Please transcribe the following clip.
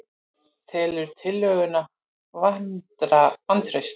Telur tillöguna vantraust